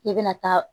I bɛna taa